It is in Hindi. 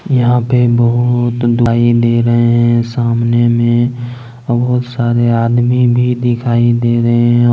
यहां पर दिखाई दे रहे हैं सामने में बहुत सारे आदमी भी दिखाई दे रहे हैं।